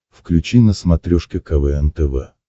включи на смотрешке квн тв